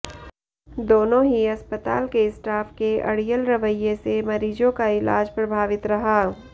दोनों ही अस्पताल के स्टाफ के अड़ियल रवैये से मरीजों का इलाज प्रभावित रहा